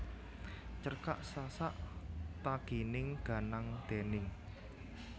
Cerkak Sasak Ta Gining Ganang déning